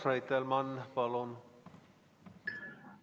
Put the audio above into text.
Urmas Reitelmann, palun!